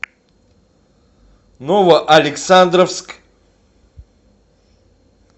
новоалександровск